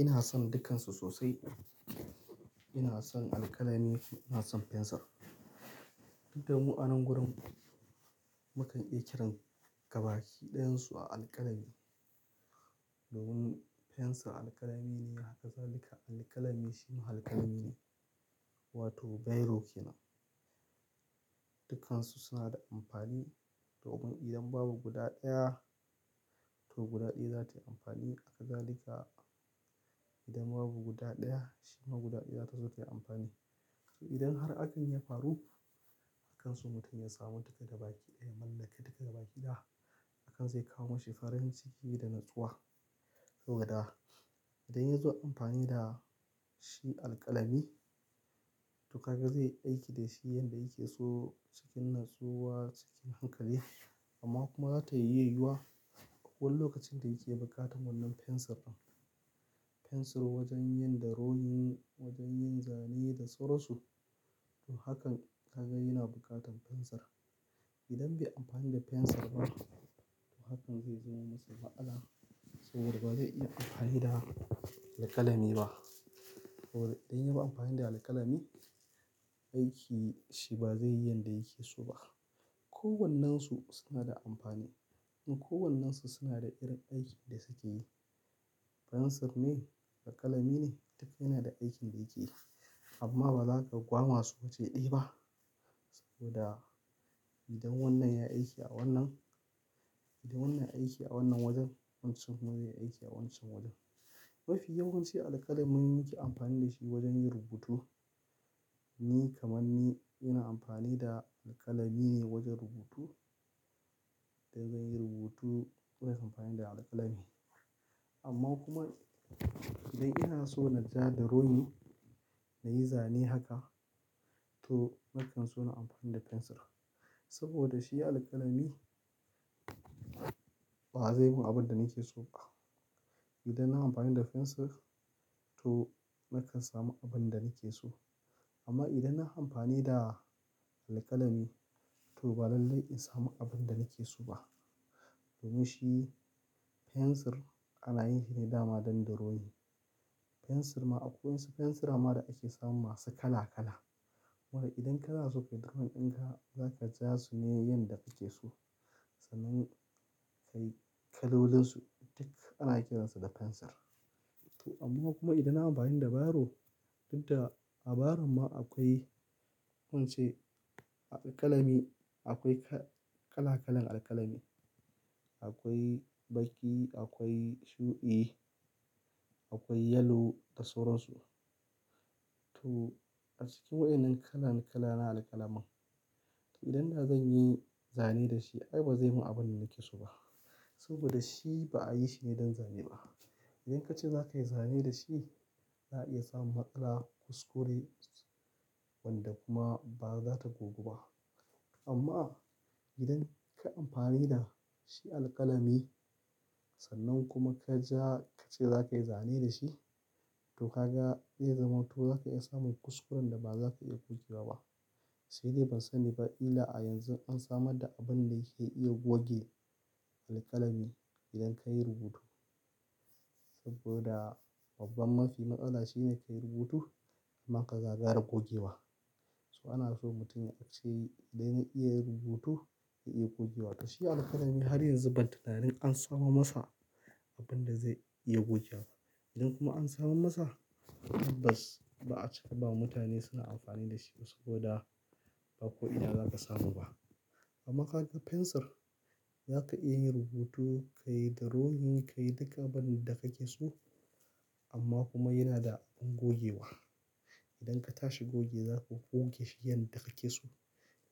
Ina son dukkansu sosai. Ina son alƙalami, ina son fensir. Duka mu a nan wurin, mukan iya kiran gabaki ɗayansu a alƙalami. Domin fensir alƙalami ne, haka za lika alƙalami shi ma alƙalami ne, wato biro ke nan. Dukkansu suna da amfani. To, idan babu guda ɗaya, to guda ɗaya za ta yi amfani. Haka za lika idan babu guda ɗaya, shi ma guda ɗaya za su iya amfani. To, idan har abin ya faru, a kansu mutum ya samu duka gabaki ɗaya, ya mallaki duka gabaki ɗaya, hakan zai kawo mashi farin ciki da natsuwa. Saboda, idan ya zo amfani da shi alƙalami, to haka zai aiki da shi yanda yake so cikin natsuwa, cikin hankali. Amma kuma za ta iya yiyuwa. Ko wanne lokacin da yake bukatan wannan fensir ɗin. Fensir wajen yin drowin, wajen yin zane da sauran su. To hakan ka ga yana bukatan fensir. Idan bai amfani da fensir ba, to hakan zai zama masa matsala. Saboda ba zai iya amfani da alƙalami ba. Saboda idan ya yi amfani da alƙalami, aiki shi ba zai yi yanda yake so ba. Ko wannen su suna da amfani. Kuma ko wannan su suna da irin aikin da suke yi. Fensir ne, alƙalami ne. Duka yana da aikin da yake yi. Amma ba za ka gwama su waje ɗaya ba. Saboda idan wannan yai aiki a wannan, idan wannan aiki a wannan wajen, wancan kuma zai aiki a wancan wajen. Mafiya ya wanci alƙalami muyi amfani da shi wajen yin rubutu. Ni kaman ni, ina amfani da alƙalami ne wajen rubutu. Idan zan yi rubutu, to zan yi amfani da alƙalami. Amma kuma, idan ina so na ja drowin, na yi zane haka, to nakan so nai amfani da fensir. Saboda shi alƙalami, ba zai mun abin da nake so ba. Idan na yi amfani da fensir, to nakan samu abin da nake so. Amma idan na yi amfani da alƙalami, to ba lallai in samu abin da nake so ba. Domin shi fensir ana yin shi ne dama don drowin. Fensir ma akwai fensir ma da ake samun masu kala kala. Wato idan kana so ka drowning ɗinka, za ka ja su ne yanda kake so. Sannan kayi kalolin su, duka ana kiransu da fensir. To amma kuma idan nayi amfani da biro, dukda abairo ma akwai ko ice alƙalami, akwai kala kalan alƙalami. Akwai baƙi, akwai shuɗi, akwai yalo da sauran su. To a cikin waɗannan kalan kala na alƙalamin, to idan da zan yi zane da shi, ai ba zai mun abin da nake so ba. Saboda shi ba a yi shi ne don zane ba. Idan ka ce za ka yi zane da shi, za a iya samun matsala kuskure wanda kuma ba za ta gogu ba. Amma idan ka yi amfani da shi alƙalami, sannan kuma ka ja ka ce za ka yi zane da shi, to kaga zai zama to za ka iya samun kuskuren da ba za ka iya gogewa ba. Sai dai ban sani ba illa a yanzu an samar da abin da yake iya goge alƙalami idan ka yi rubutu. Saboda babban mafi matsala shi ne ka yi rubutu amma ka gagara gogewa. To ana so mutum ya ce idan ya iya rubutu, ya iya gogewa. To shi alƙalami har yanzu ban tunani an samo masa abin da zai iya gogewa. Idan kuma an samo masa, bas, ba a cika ba mutane suna amfani da shi saboda ba ko ina za ka samu ba. Amma ka ga fensir, za ka iya yin rubutu, ka yi drowin, ka yi duka abin da kake so. Amma kuma yana da abin gogewa. Idan ka tashi gogewa, za ka goge shi yanda kake so.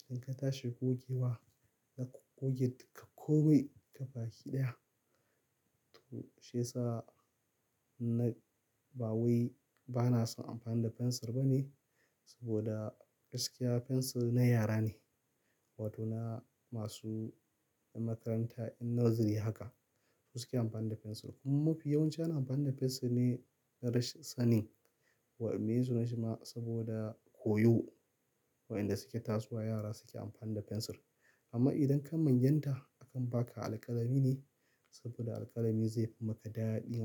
Idan ka tashi gogewa, za ka goge duka komai gabaki ɗaya. To shiyasa na, ba wai bana son amfani da fensir ba ne. Saboda gaskiya fensir na yara ne. Wato na masu makaranta in nursery haka su suke amfani da fensir. Kuma mafiya yawanci ana amfani da fensir ne darashin sanin. Wa'in ne su na shi ma saboda koyo. Wa'inda su ke tasowa yara suke amfani da fensir. Amma idan ka manyanta, akan baka alƙalami ne saboda alƙalami zai fi maka daɗi ma.